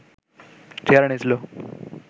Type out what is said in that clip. চেহারা নিয়েছিল